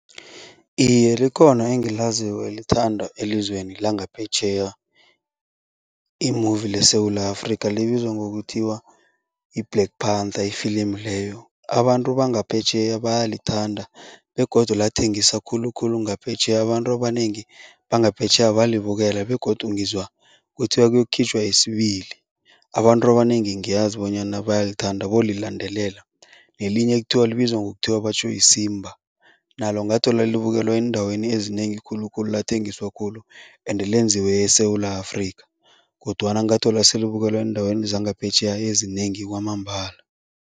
Iye, likhona engilaziko elithandwa elizweni langaphetjheya i-movie leSewula Afrika, libizwa ngokuthiwa yi-black panther ifilimu leyo. Abantu bangaphetjheya bayalithanda begodu lathengisa khulukhulu ngaphetjheya, abantu abanengi bangaphetjheya balibukela begodu ngizwa kuthiwa kuyokukhitjhwa yesibili. Abantu abanengi ngiyazi bonyana bayalithanda, bolilandelela. Nelinye ekuthiwa libizwa ngokuthiwa batjho yiSimba, nalo ngathola libukelwe eendaweni ezinengi khulukhulu, lathengiswa khulu ende lenziwe eSewula Afrika kodwana ngathola selibukelwa eendaweni zangaphetjheya ezinengi kwamambala.